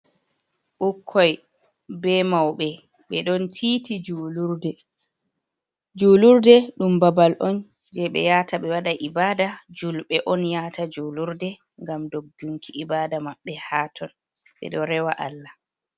Ɓukkoi be mauɓe ɓe ɗon titi julurde, julurde dum babal on je ɓe yata ɓe waɗa ibada, julɓe on yata julurde ngam doggunki ibada maɓɓe haton, ɓeɗo rewa Allah.